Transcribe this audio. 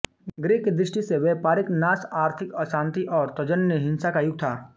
गृह की दृष्टि से यह व्यापारिक नाश आर्थिक अशांति और तज्जन्य हिंसा का युग था